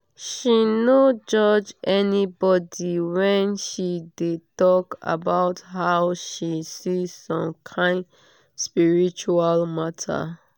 she no judge anybody when she de talk about how she see some kyn spiritual matter